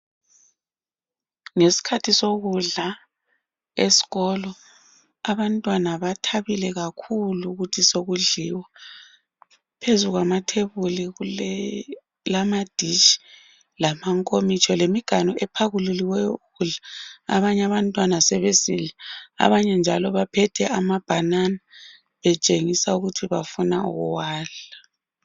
Ngeskhathi sokudla esikolo , abantwana bathabile kakhulu ukuthi sokudliwa , phezu kwamathebuli kule kulama dish , lamankomitsho lemiganu ephakululiweyo ukudla , abanye abantwana sebesidla , abanye njalo baphethe amabanana betshengisa ukuthi bafuna ukuwadla